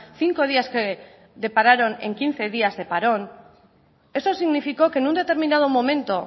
cinco días que depararon en quince días de parón eso significó que en un determinado momento